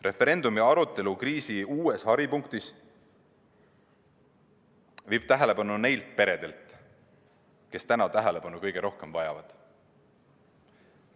Referendumi arutelu kriisi uues haripunktis viib tähelepanu neilt peredelt, kes täna kõige rohkem tähelepanu vajavad.